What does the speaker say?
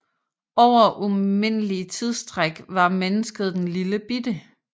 Over umindelige tidsstræk var mennesket den lillebitte